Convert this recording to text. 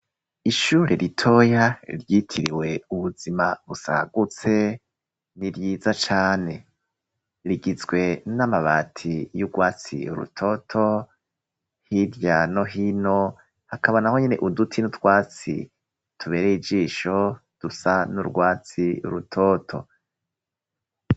Ishure ritoya ryitiriwe ubuzima busagutse ni ryiza cane, rigizwe n'amabati y'urwatsi rutoto hirya no hino hakaba naho nyene uduti n'utwatsi tubereye ijisho dusa n'urwatsi rutoto.